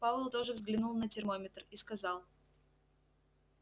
пауэлл тоже взглянул на термометр и сказал